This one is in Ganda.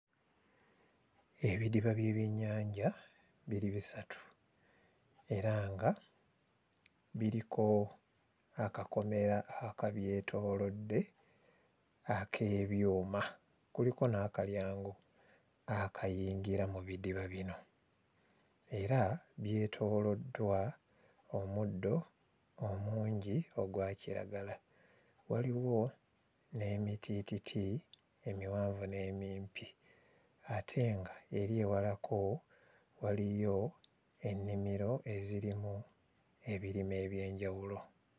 Ebidiba by'ebyennyanja biri bisatu era nga biriko akakomera akabyetoolodde ak'ebyuma kuliko n'akalyango akayingira mu bidiba bino era byetooloddwa omuddo omungi ogwa kiragala waliwo n'emitiititi emiwanvu n'emimpi ate nga eri ewalako waliyo ennimiro ezirimu ebirime eby'enjawulo.